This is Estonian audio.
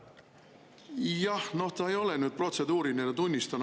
Jah, noh, see ei ole protseduuriline, tunnistan.